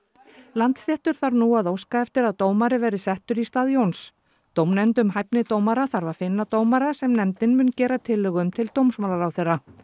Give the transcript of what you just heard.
Landsréttur þarf nú að óska eftir að dómari verði settur í stað Jóns dómnefnd um hæfni dómara þarf að finna dómara sem nefndin mun gera tillögu um til dómsmálaráðherra